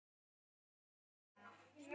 Þín, Hrönn.